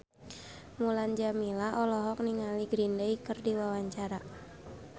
Mulan Jameela olohok ningali Green Day keur diwawancara